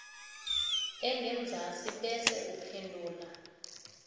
engenzasi bese uphendula